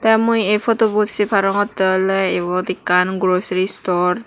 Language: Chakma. te mui ay poto bot sey parongotte ole iyot ekkan grocery store